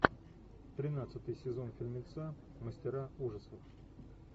тринадцатый сезон фильмеца мастера ужасов